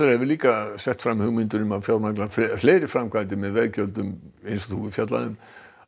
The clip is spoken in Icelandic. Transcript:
hefur líka sett fram hugmyndir um að fjármagna fleiri framkvæmdir með veggjöldum eins og þú hefur fjallað um